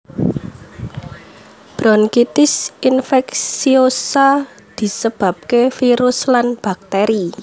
Bronkitis infeksiosa disebabke virus lan bakteri